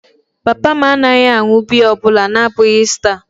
Papa m anaghị aṅụ biya ọ bụla na-abụghị Star.